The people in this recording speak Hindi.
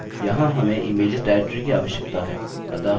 यहाँ हमें इमेज्स डाइरेक्टरी की आवश्यकता हैं